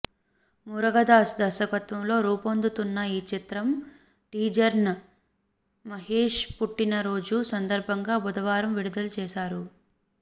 మురుగదాస్ దర్శకత్వంలో రూపొందుతున్న ఈ చిత్ర టీజర్ను మహేష్ పుట్టిన రోజు సందర్భంగా బుధవారం విడుదల చేశారు